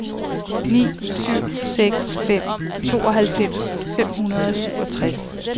ni syv seks fem tooghalvfems fem hundrede og syvogtres